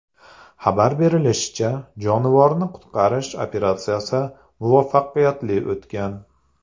Xabar berilishicha, jonivorni qutqarish operatsiyasi muvaffaqiyatli o‘tgan.